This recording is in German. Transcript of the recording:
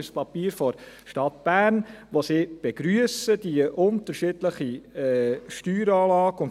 Es ist ein Papier der Stadt Bern, in welchem sie die unterschiedliche Steueranlage begrüssen.